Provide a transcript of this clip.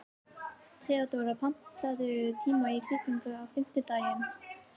Theodóra, pantaðu tíma í klippingu á fimmtudaginn.